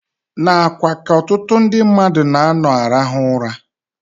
N'akwa ka ọtụtụ ndị mmadụ na-anọ arahụ ụra.